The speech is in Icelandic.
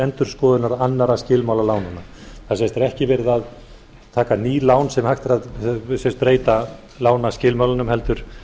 endurskoðunar annarra skilmála lánanna það er það er ekki verið að taka ný lán sem hægt er að sem sagt breyta lánaskilmálunum heldur